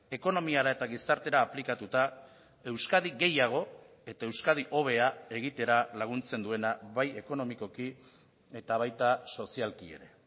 ekonomiara eta gizartera aplikatuta euskadi gehiago eta euskadi hobea egitera laguntzen duena bai ekonomikoki eta baita sozialki ere